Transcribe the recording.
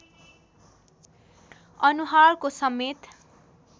अनुहारको समेत